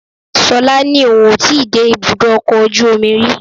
Ṣọlá ní òun ò ì tí ì dé ibùdó ọkọ̀ ojú omi rí